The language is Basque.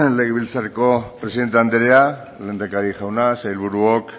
legebiltzarreko presidente andrea lehendakari jauna sailburuok